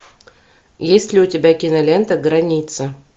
есть ли у тебя кинолента граница